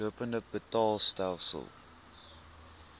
lopende betaalstelsel lbs